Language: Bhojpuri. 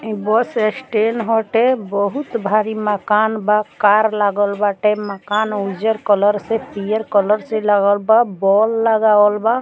इ बस स्टैंड होते बहुत भारी मकान बा कार लागल बाटे मकान उज्जर कलर से पियर कलर से लगल बा बोल लगावल बा।